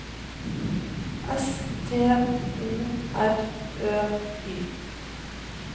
S T O R Ø Y